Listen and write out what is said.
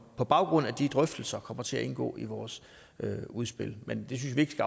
på baggrund af de drøftelser kommer til at indgå i vores udspil men vi synes ikke at